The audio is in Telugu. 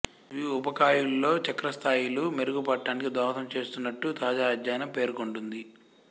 ఇవి వూబకాయుల్లో చక్కెర స్థాయిలు మెరుగు పడటానికి దోహదం చేస్తున్నట్టు తాజా అధ్యయనం పేర్కొంటోంది